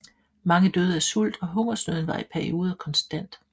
Mange døde af sult og hungersnøden var i perioder konstant